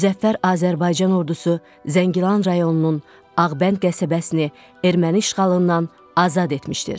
Müzəffər Azərbaycan Ordusu Zəngilan rayonunun Ağbənd qəsəbəsini erməni işğalından azad etmişdir.